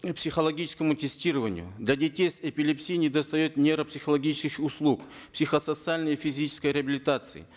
психологическому тестированию для детей с эпилепсией не достает нейропсихологических услуг психосоциальной физической реабилитации